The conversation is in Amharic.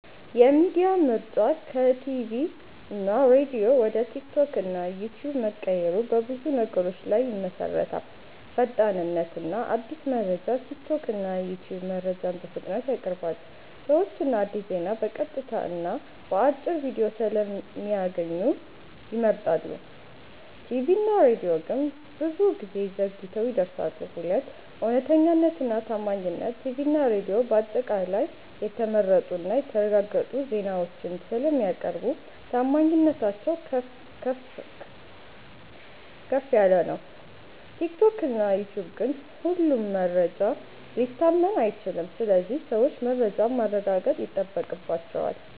የሚዲያ ምርጫ ከቲቪ እና ሬዲዮ ወደ ቲክቶክ እና ዩትዩብ መቀየሩ በብዙ ነገሮች ላይ ይመሠረታል። 1. ፈጣንነት እና አዲስ መረጃ ቲክቶክ እና ዩትዩብ መረጃን በፍጥነት ያቀርባሉ። ሰዎች አዲስ ዜና በቀጥታ እና በአጭር ቪዲዮ ስለሚያገኙ ይመርጣሉ። ቲቪ እና ሬዲዮ ግን ብዙ ጊዜ ዘግይተው ይደርሳሉ። 2. እውነተኛነት እና ታማኝነት ቲቪ እና ሬዲዮ በአጠቃላይ የተመረጡ እና የተረጋገጡ ዜናዎችን ስለሚያቀርቡ ታማኝነታቸው ከፍ ነው። ቲክቶክ እና ዩትዩብ ግን ሁሉም መረጃ ሊታመን አይችልም ስለዚህ ሰዎች መረጃን ማረጋገጥ ይጠበቅባቸዋል።